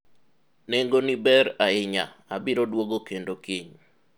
nengoni ber ahinya, abiro dwogo kendo kiny